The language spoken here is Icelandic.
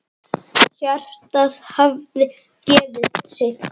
Hjartað hafði gefið sig.